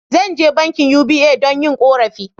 Zan je bankin"UBA" don yin korafi.